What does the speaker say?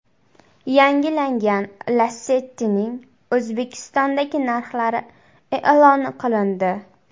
Yangilangan Lacetti’ning O‘zbekistondagi narxlari e’lon qilindi.